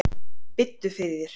Biddu fyrir þér.